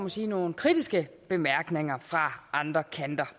må sige nogle kritiske bemærkninger fra andre kanter